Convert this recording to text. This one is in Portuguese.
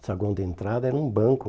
O saguão de entrada era um banco.